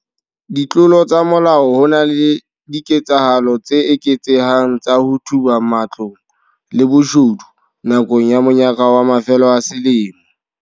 Ditlolo tsa molao Ho na le diketsahalo tse eketsehang tsa ho thuba matlong le boshodu nakong ya monyaka wa mafelo a selemo.